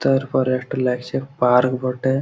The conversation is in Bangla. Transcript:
তারপরে একটা লাগছে পার্ক বটে ।